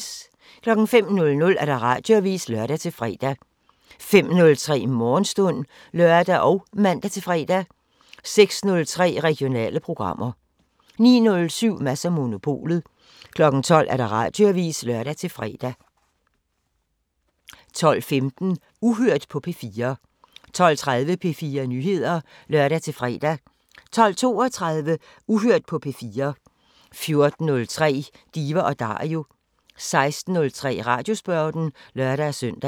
05:00: Radioavisen (lør-fre) 05:03: Morgenstund (lør og man-fre) 06:03: Regionale programmer 09:07: Mads & Monopolet 12:00: Radioavisen (lør-fre) 12:15: Uhørt på P4 12:30: P4 Nyheder (lør-fre) 12:32: Uhørt på P4 14:03: Diva & Dario 16:03: Radiosporten (lør-søn)